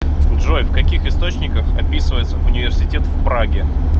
джой в каких источниках описывается университет в праге